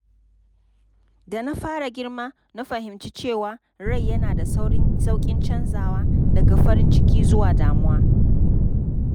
Da na fara girma, na fahimci cewa rai yana da sauƙin canzawa daga farin ciki zuwa damuwa.